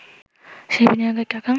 সেই বিনিয়োগের টাকা